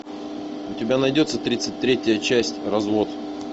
у тебя найдется тридцать третья часть развод